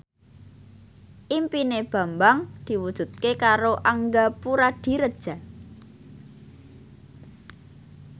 impine Bambang diwujudke karo Angga Puradiredja